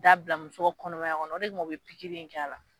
Taa bila muso kɔnɔmaya kɔnɔ o de kama u bɛ pikiri in kɛ a la